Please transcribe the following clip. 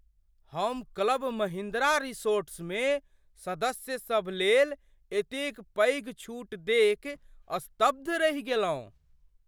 हम क्लब महिंद्रा रिसॉर्ट्समे सदस्यसभ लेल एतेक पैघ छूट देखि स्तब्ध रहि गेलहुँ।